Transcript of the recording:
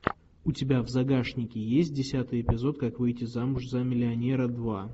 у тебя в загашнике есть десятый эпизод как выйти замуж за миллионера два